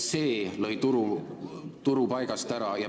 See lõi turu paigast ära.